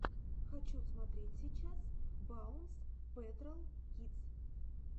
хочу смотреть сейчас баунс пэтрол кидс